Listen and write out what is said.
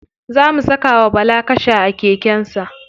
Za mu saka wa bala kasha a keken sa.